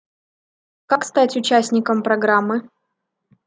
как стать участником программы